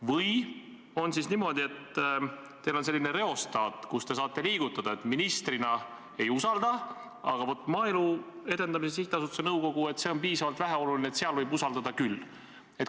Või on siis niimoodi, et teil on reostaat ja te saate seda liigutada nii, et ministrina ei usalda, aga vaat, Maaelu Edendamise Sihtasutuse nõukogu, see on piisavalt väheoluline, seal võib usaldada küll?